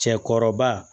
Cɛkɔrɔba